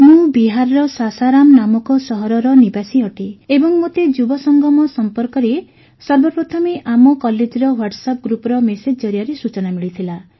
ମୁଁ ବିହାରର ସାସାରାମ ନାମକ ସହରର ନିବାସୀ ଅଟେ ଏବଂ ମୋତେ ଯୁବସଙ୍ଗମ ସମ୍ପର୍କରେ ସର୍ବପ୍ରଥମେ ଆମ କଲେଜର ହ୍ୱାଟସଆପ୍ ଗ୍ରୁପ୍ର ମେସେଜ ଜରିଆରେ ସୂଚନା ମିଳିଥିଲା